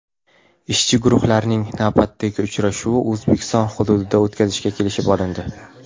Ishchi guruhlarning navbatdagi uchrashuvini O‘zbekiston hududida o‘tkazishga kelishib olindi.